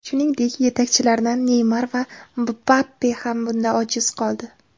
Shuningdek, yetakchilardan Neymar va Mbappe ham bunda ojiz qoldi.